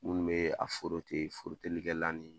Minnu bɛ a , forotelikɛlan ni